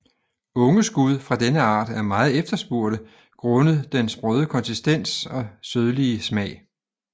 Unge skud fra denne art er meget efterspurgte grundet den sprøde konsistens og sødlige smag